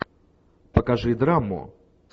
покажи драму